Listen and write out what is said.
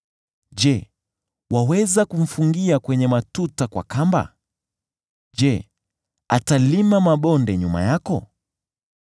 Je, waweza kumfungia kwenye matuta kwa kamba? Je, atalima mabonde nyuma yako?